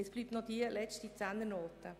Es bleibt noch eine Zehnernote.